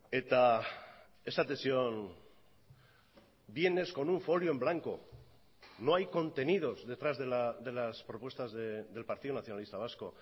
eta esaten zion vienes con un folio en blanco no hay contenidos detrás de las propuestas del partido nacionalista vasco